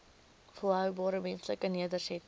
volhoubare menslike nedersettings